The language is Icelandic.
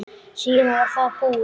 Síðan var það búið.